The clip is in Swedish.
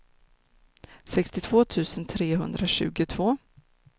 sextiotvå tusen trehundratjugotvå